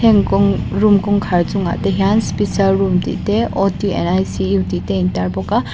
heng kawng room kawngkhar chungah te hian special room tih te and tihte a intar bawka.